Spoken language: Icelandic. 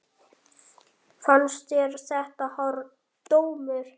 Fannst þér þetta hár dómur?